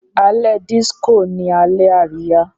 Alẹ́ disco ní Alẹ́ Àríyá.